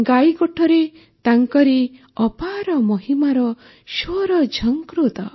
ଗାଈଗୋଠରେ ତାଙ୍କରି ଅପାର ମହିମାର ସ୍ୱର ଝଙ୍କୃତ